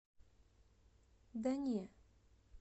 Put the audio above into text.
да не